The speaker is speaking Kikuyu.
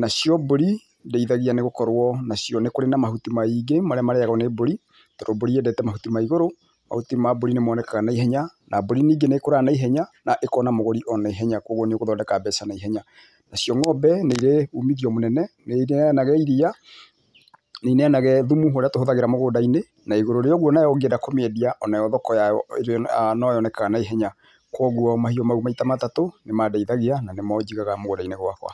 Nacio mbũri, ndĩithagia nĩ gũkorwo nacio nĩ kũrĩ na mahuti maa-ingĩ, marĩa marĩagwo nĩ mbũri, tondũ mbũri yendete mahuti ma igũrũ, mahuti ma mbũrĩ nĩmonekaga na ihenya, na mbũri ningĩ nĩĩkũraga na ihenya, na ĩkona mũgũri o na ihenya koguo nĩ ũgũthondeka mbeca na ihenya. Nacio ng'ombe nĩ-irĩ umithio mũnene, nĩineanaga iria, nĩineanaga thumu ũrĩa tũhũthagĩra mũgũnda-inĩ, na igũrũ rĩa ũguo nayo ũngĩenda kũmĩendia, o nayo thoko yayo noyonekaga na ihenya, koguo mahiũ mau maita matatũ, nĩ mandeithagia, na nĩmo njigaga, mũgũnda-inĩ gwakwa.